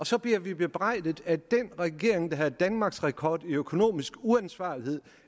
så bliver vi bebrejdet af den regering der har danmarksrekord i økonomisk uansvarlighed